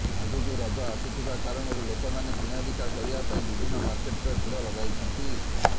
ଆଗକୁ ରଜ ଆସୁଥିବା କାରଣରୁ ଲୋକମାନେ କିଣାବିକା କରିବା ପାଇଁ ବିଭିନ୍ନ ମାର୍କେଟରେ ଭିଡ଼ ଲଗାଇଛନ୍ତି